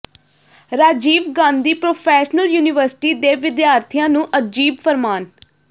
Rajiv Gandhi professional university ਦੇ ਵਿਦਿਆਰਥੀਆਂ ਨੂੰ ਅਜੀਬ ਫਰਮਾਨ